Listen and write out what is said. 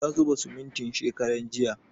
Ya zuba simintin shekaran jiya